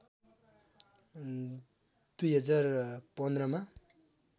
२०१५ मा